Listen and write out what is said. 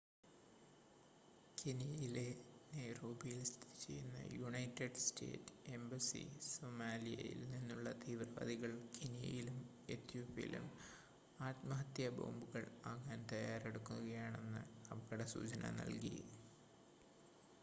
കെനിയയിലെ നൈറോബിയിൽ സ്ഥിതിചെയ്യുന്ന united state embassy സൊമാലിയായിൽ നിന്നുള്ള തീവ്രവാദികൾ കെനിയയിലും ഏതോപ്യയിലും ആത്മഹത്യാബോംബുകൾ ആകാൻ തയ്യാറെടുക്കുകയാണെന്ന അപകടസൂചന നൽകി